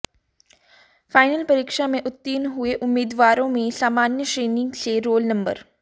final परीक्षा में उत्तीर्ण हुए उम्मीदवारों में सामान्य श्रेणी से रोल नंबर